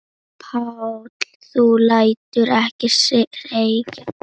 Páll: Þú lætur ekki segjast?